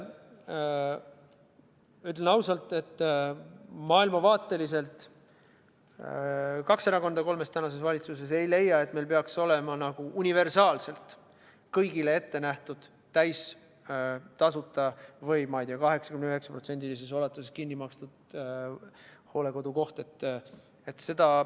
Ütlen ausalt, et maailmavaateliselt kaks valitsuserakonda kolmest ei leia, et meil peaks olema universaalselt kõigile täiesti tasuta antav või, ma ei tea, 89% ulatuses kinni makstav hooldekodukoht.